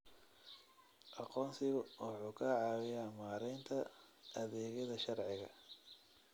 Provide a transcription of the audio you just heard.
Aqoonsigu wuxuu ka caawiyaa maaraynta adeegyada sharciga.